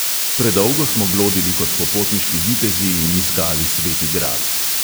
Predolgo smo blodili kot popotniški vitezi in iskali sveti gral.